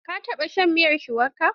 Ka taɓa shan miyar shuwaka?